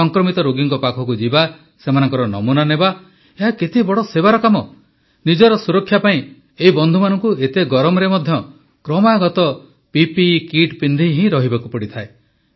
ସଂକ୍ରମିତ ରୋଗୀଙ୍କ ପାଖକୁ ଯିବା ସେମାନଙ୍କ ନମୁନା ନେବା ଏହା କେତେ ବଡ଼ ସେବାର କାମ ନିଜର ସୁରକ୍ଷା ପାଇଁ ଏହି ବନ୍ଧୁମାନଙ୍କୁ ଏତେ ଗରମରେ ମଧ୍ୟ କ୍ରମାଗତ ପିପିଇ କିଟ୍ ପିନ୍ଧି ହିଁ ରହିବାକୁ ପଡ଼େ